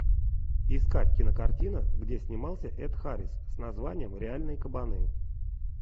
искать кинокартина где снимался эд харрис с названием реальные кабаны